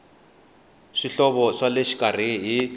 swihoxo swa le xikarhi hi